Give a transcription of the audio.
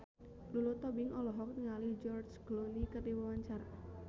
Lulu Tobing olohok ningali George Clooney keur diwawancara